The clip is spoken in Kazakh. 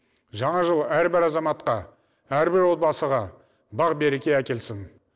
жаңа жыл әрбір азаматқа әрбір отбасыға бақ береке әкелсін